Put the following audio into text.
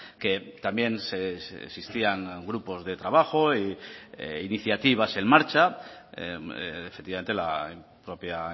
que también existían grupos de trabajo e iniciativas en marcha efectivamente la propia